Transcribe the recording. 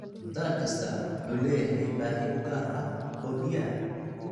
Dalag kastaa wuxuu leeyahay baahi u gaar ah oo biyo ah.